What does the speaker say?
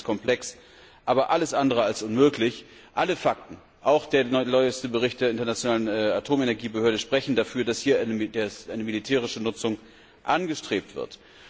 Technisch ist das komplex, aber alles andere als unmöglich. Alle Fakten, auch der neueste Bericht der Internationalen Atomenergiebehörde, sprechen dafür, dass hier eine militärische Nutzung angestrebt wird.